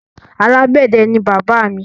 Alágbẹ̀dẹ ni bàbá mi.